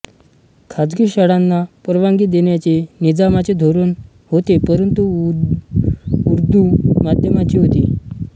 खाजगी शाळांना परवानगी देण्याचे निजामाचे धोरण होतेपरंतु उदू माध्यमाची होती